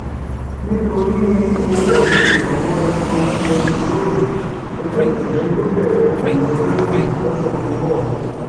nítorí ọwọ ìrànwọ epo bẹntiróòlù ẹgbẹ òṣìṣẹ yóò bẹrẹ ìyanṣẹlódì lọsẹ tó ń bọ